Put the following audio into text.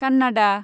Kannada